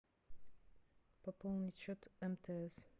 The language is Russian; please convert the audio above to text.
пополнить счет мтс